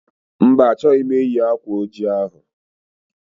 Mba, achọghị m eyi akwa oji ahụ